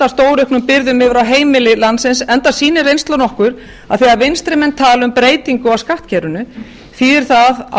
stórauknum byrðum yfir á heimili landsins enda sýnir reynslan okkur að þegar vinstri menn tala um breytingu á skattkerfinu þýðir það á